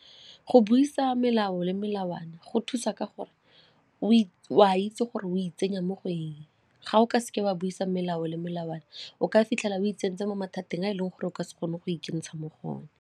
Go buisa melao le melawana go thusa ka gore o a itse gore o itsenya mo go eng ga o ka seke wa buisa melao le melawana o ka fitlhela o itseng ntse mo mathateng a e leng gore o ka se kgone go ikentsha mo go one.